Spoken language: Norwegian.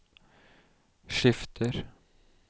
skifter